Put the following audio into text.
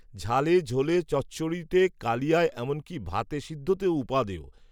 ঝালে ঝোলে চচ্চড়িতে কালিয়ায় এমনকী, ভাতে সিদ্ধতেও, উপাদেয়